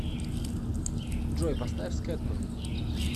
джой поставь скэтмэн